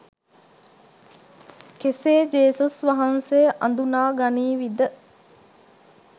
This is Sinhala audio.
කෙසේ ජේසුස් වහන්සේ අදුනා ගනීවිද.?